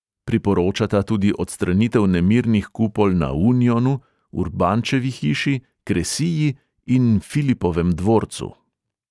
Priporočata tudi odstranitev nemirnih kupol na unionu, urbančevi hiši, kresiji in filipovem dvorcu ...